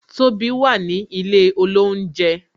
Tobi wà ní ilé olounje